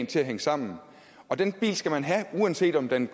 til at hænge sammen og den bil skal man have uanset om den